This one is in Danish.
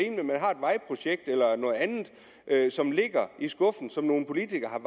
vejprojekt eller noget andet som ligger i skuffen og som nogle politikere